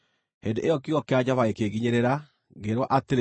Hĩndĩ ĩyo kiugo kĩa Jehova gĩkĩnginyĩrĩra, ngĩĩrwo atĩrĩ,